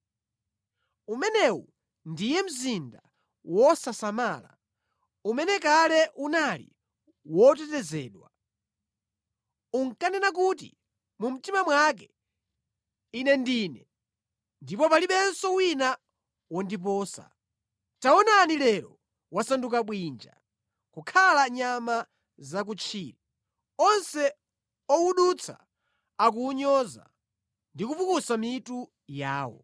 Umenewu ndiye mzinda wosasamala umene kale unali wotetezedwa. Unkanena kuti mu mtima mwake, “Ine ndine, ndipo palibenso wina wondiposa.” Taonani lero wasanduka bwinja, kokhala nyama zakutchire! Onse owudutsa akuwunyoza ndi kupukusa mitu yawo.